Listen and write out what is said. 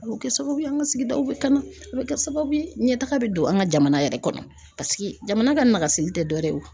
A bɛ kɛ sababu ye an ka sigidaw bɛ kana a bɛ kɛ sababu ye ɲɛtaga bɛ don an ka jamana yɛrɛ kɔnɔ paseke jamana ka nasigi tɛ dɔ wɛrɛ ye.